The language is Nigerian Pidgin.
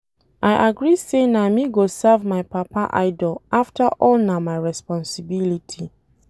I agree say na me go serve my papa idol after all na my responsibility.